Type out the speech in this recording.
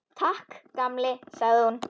Takk, gamli, sagði hún.